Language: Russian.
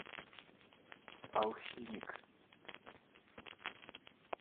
алхимик